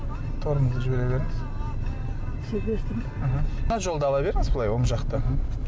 тормозды жібере беріңіз мхм мына жолды ала беріңіз былай оң жақты мхм